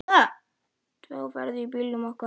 Tvö á ferð í bílnum okkar.